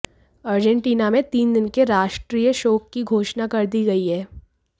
Argentina में तीन दिन के राष्ट्रीय शोक की घोषणा कर दी गई है